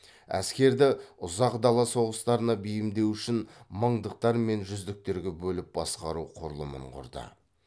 әскерді ұзақ дала соғыстарына бейімдеу үшін мыңдықтар мен жүздіктерге бөліп басқару құрылымын құрды